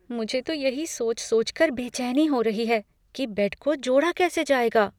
मुझे तो यही सोच सोचकर बेचैनी हो रही है कि बेड को जोड़ा कैसे जाएगा।